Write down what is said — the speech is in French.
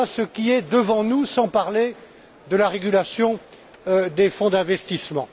Voilà ce qui est devant nous, sans parler de la régulation des fonds d'investissement.